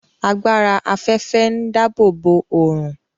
Agbára afẹfẹ ǹ dáàbòbo ọrun